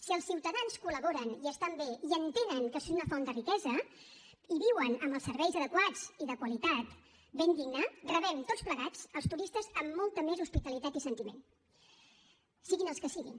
si els ciutadans col·laboren i estan bé i entenen que és una font de riquesa i viuen amb els serveis adequats i de qualitat ben digna rebem tots plegats els turistes amb molta més hospitalitat i sentiment siguin els que siguin